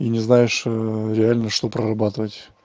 и не знаешь реально что прорабатывать